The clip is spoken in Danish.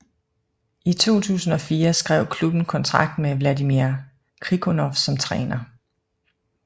I 2004 skrev klubben kontrakt med Vladimir Krikunov som træner